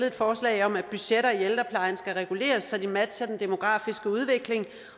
et forslag om at budgetter i ældreplejen skal reguleres så de matcher den demografiske udvikling